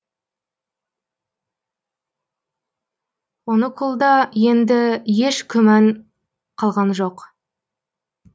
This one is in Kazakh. онукулда енді еш күмән қалған жоқ